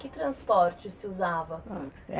Que transporte se usava?